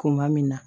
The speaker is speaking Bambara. Kuma min na